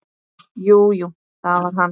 Jú, jú, það var hann.